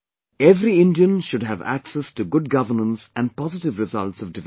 Every Indian should have access to good governance and positive results of development